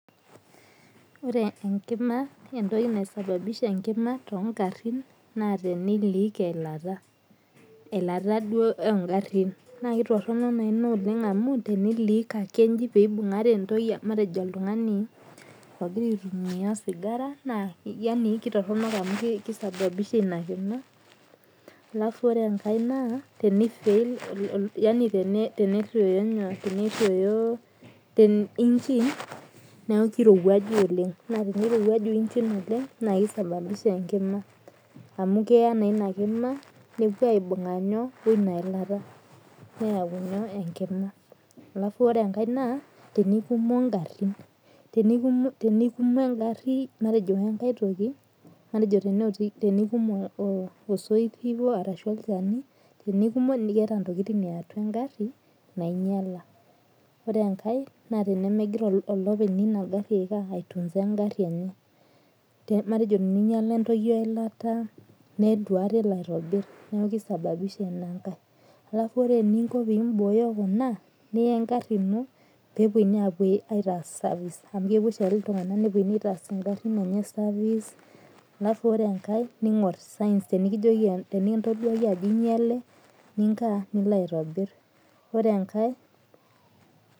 Ore enkima entoki naisababisha enkima togarrin na teni leak eilata. Eilata duo ogarrin. Na kitorrono naa ina oleng amu teni leak ake iji peibung'are entoki matejo oltung'ani, ogira aitumia osigara, naa yani kitorronok amu kisababisha inakino. Alafu ore enkae naa, teni fail yani tenerruoyo engine, neeku kirowuaju oleng. Na tenirowuaju engine oleng na kisababisha enkima amu keya naa inakima, nepuo aibung'a nyoo, woinailata. Neeu ina enkima. Alafu ore enkae naa, tenikumo garrin. Tenikumo egarri matejo wenkae toki, matejo teneotiki aikum osoit arashu olchani, tenikumo keeta ntokiting eatua egarri, nainyala. Ore enkae, na tenemegira olopeny ina garri ai tunza egarri enye. Matejo teninyala entoki eilata, netu aikata elo aitobi. Neeku kisababisha inankae. Alafu ore eninko pibooyo kuna, niya egarri ino penunui apuo aitaas service, amu kepuo oshiake iltung'anak nepuo nitaas igarrin enye service, alafu ore enkae ning'or signs tenikijoki tenikintoduaki ajo inyale, ninkaa, nilo aitobir.